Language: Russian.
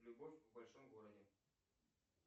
любовь в большом городе